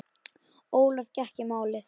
Ólöf gekk í málið.